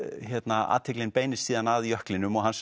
að athyglin beinist síðan að jöklinum og hans